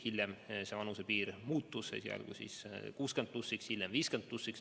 Hiljem see vanusepiir muutus, esialgu 60 plussiks, hiljem 50 plussiks.